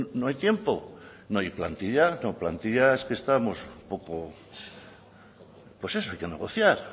no hay tiempo no hay plantilla plantilla es que estamos un poco pues eso hay que negociar